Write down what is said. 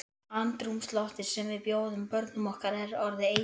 Andrúmsloftið sem við bjóðum börnum okkar er orðið eitrað.